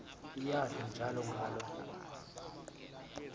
iyadla njalo ngaloo